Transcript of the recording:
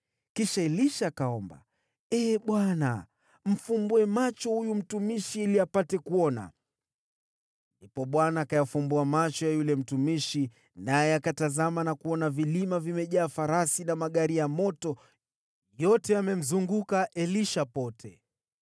Kisha Elisha akaomba, “Ee Bwana , mfumbue macho huyu mtumishi ili apate kuona.” Ndipo Bwana akayafumbua macho ya yule mtumishi, naye akatazama na kuona vilima vimejaa farasi na magari ya moto, yamemzunguka Elisha pande zote.